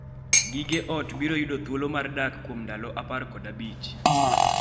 Gige ot biro yudo thuolo mar dak kuom ndalo 15.